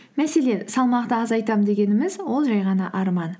мәселен салмақты азайтамын дегеніміз ол жай ғана арман